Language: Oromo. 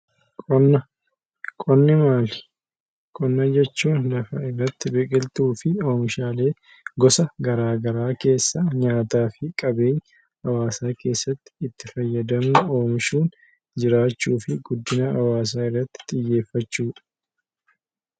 Qonna Qonni maali? Qonna jechuun biqiltuu fi oomishaalee gosa garaagaraa keessaa nyaataa fi qabeenya hawaasa keessatti itti fayyadamuuf oolu oomishuun jiraachuu fi itti fayyadamuun guddina hawaasaa irratti xiyyeeffachuudha.